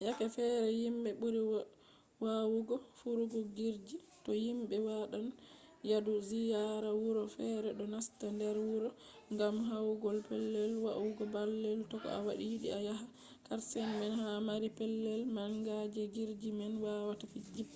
yake fere himɓe ɓuri wawugo firugo jirgi to himɓe waɗan yadu ziyara wuro fere ɗo nasta nder wuro ngam yahugo pellel wa’ugo baalle ko to a yiɗi a yaha karshe man ha mari pellel manga je jirgi man wawata jippa